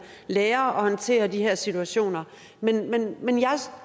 lære at håndtere de her situationer men jeg